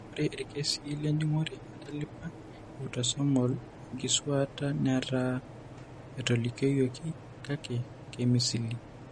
Ore irkesii lenjung'ore entalipa eautosomal oenkisuaata netaa etolikioyioki kake keimisili.